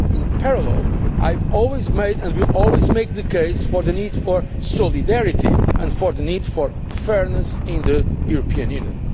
process. In parallel, I have always made and will always make the case for the need for solidarity and for the need for fairness in the European